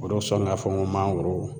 O de sɔn ŋ'a fɔ ŋo mangoro